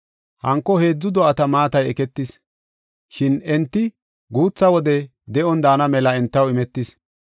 Hanko heedzu do7ata maatay eketis; shin enti guutha wode de7on daana mela entaw imetis.